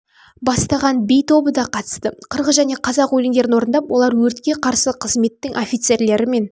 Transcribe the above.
бастаған би тобы да қатысты қырғыз және қазақ өлендерін орындап олар өртке қарсы қызметтің офицерлері